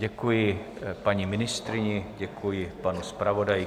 Děkuji paní ministryni, děkuji panu zpravodaji.